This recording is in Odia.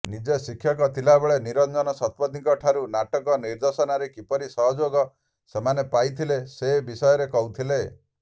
ନିଜେ ଶିକ୍ଷକ ଥିବାବେଳେ ନିରଞ୍ଜନ ଶତପଥୀଙ୍କଠାରୁ ନାଟକ ନିର୍ଦ୍ଦେଶନାରେ କିପରି ସହଯୋଗ ସେମାନେ ପାଇଥିଲେ ସେ ବିଷୟରେ କହୁଥିଲେ